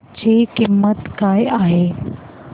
ची किंमत काय आहे